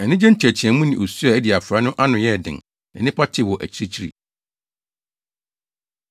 Anigye nteɛteɛmu ne osu a adi afra no ano yɛɛ den, na nnipa tee wɔ akyirikyiri.